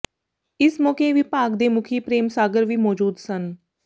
ਇਸ ਮੌਕੇ ਵਿਭਾਗ ਦੇ ਮੁੱਖੀ ਪ੍ਰੇਮ ਸਾਗਰ ਵੀ ਮੌਜੂਦ ਸਨ